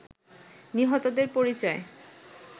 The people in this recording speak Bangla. নিহতদের পরিচয়